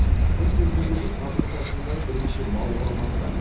біз көзбен көрген қазығұрт асуындағы бірнеше мал қора маңында